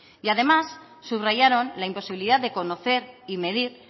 además subrayaron la imposibilidad de conocer y medir